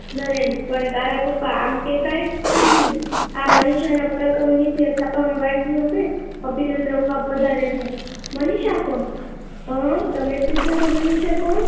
નરેન પણ તારા પપ્પા આમ તે કાઈ આ મનીષા નાં પરાક્રમ વિશે છાપા માં વાંચ્યું હશે તો અભિનંદન આપવા પધાર્યા છે મનીષા કોણ શું તમે પૂછો છો મનીષા કોણ